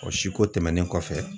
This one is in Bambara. O si ko tɛmɛnen kɔfɛ